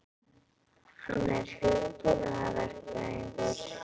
Hann er hugbúnaðarverkfræðingur.